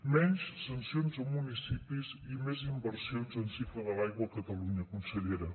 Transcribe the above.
menys sancions a municipis i més inversions en cicle de l’aigua a catalunya consellera